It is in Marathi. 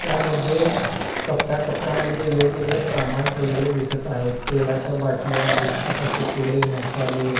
त्यामध्ये कप्याकप्या मध्ये वेगवेगळे सामान ठेवलेले दिसत आहे तेलाच्या बाटल्या बिस्कीट चे पुडे मसाले.